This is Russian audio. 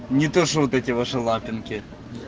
не то что вот эти ваши лапинки